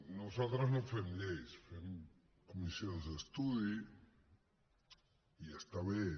nosaltres no fem lleis fem comissions d’estudi i està bé